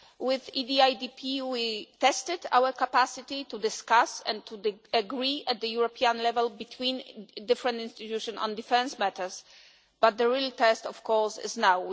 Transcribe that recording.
With the EDIDP we tested our capacity to discuss and to agree at European level between different institutions on defence matters, but the real test of course is now.